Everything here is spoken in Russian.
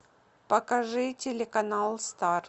покажи телеканал стар